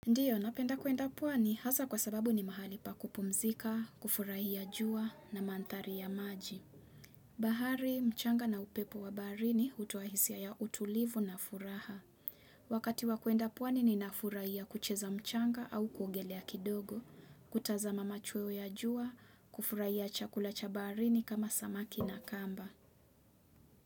Ndiyo, napenda kuenda puani hasa kwa sababu ni mahali pa kupumzika, kufurahia jua na manthari ya maji. Bahari, mchanga na upepo wa barini hutoa hisia ya utulivu na furaha. Wakati wa kuenda puani ninafurahia kucheza mchanga au kuogelea kidogo, kutaza machweo ya jua, kufurahia chakula cha barini kama samaki na kamba.